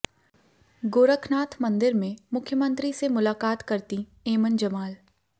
गोरखनाथ मंदिर में मुख्यमंत्री से मुलाकात करतीं ऐमन जमाल